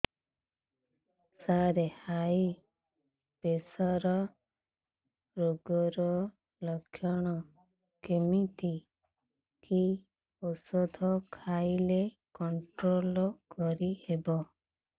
ସାର high pressure ରୋଗର ଲଖଣ କେମିତି କି ଓଷଧ ଖାଇଲେ କଂଟ୍ରୋଲ କରିହେବ